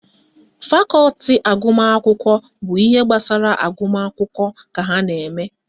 Fakọti agụmakwụkwọ bụ ihe gbasara agụmakwụkwọ ka ha na-eme